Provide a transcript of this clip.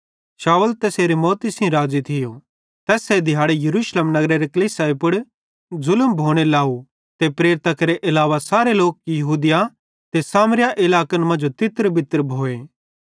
शाऊल तैसेरी मौती सेइं राज़ी थियो तैस्से दिहाड़े यरूशलेम नगरेरे कलीसियाई पुड़ ज़ुलम भोने लाव ते प्रेरितां केरे अलावा सारे लोक यहूदिया ते सामरियारे इलाकन मांजो तितरबितर भोए